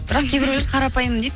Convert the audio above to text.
бірақ кейбіреулер қарапайым дейді